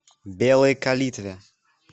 белой калитве